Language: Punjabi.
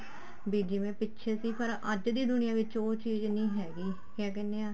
ਵੀ ਜਿਵੇਂ ਪਿੱਛੇ ਸੀ ਫ਼ੇਰ ਅੱਜ ਦੀ ਦੁਨੀਆ ਵਿੱਚ ਉਹ ਚੀਜ਼ ਨੀ ਹੈਗੀ ਕਿਆ ਕਹਿਨੇ ਆ